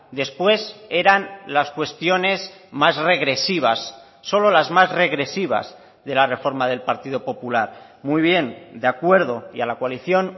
después eran las cuestiones más regresivas solo las más regresivas de la reforma del partido popular muy bien de acuerdo y a la coalición